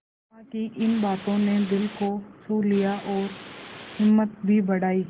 सिमा की इन बातों ने दिल को छू लिया और हिम्मत भी बढ़ाई